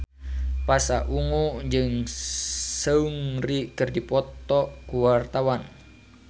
Pasha Ungu jeung Seungri keur dipoto ku wartawan